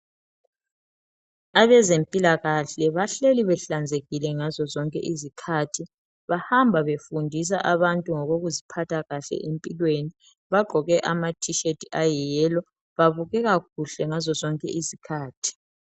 Abezempilakahle bahleli behlanzekile ngazo zonke izikhathi, bahamba befundisa abantu ngokuziphathakahle empilweni, bagqokeama T shirt ayi - yellow babukeka kuhle ngazo zonke izikhathi.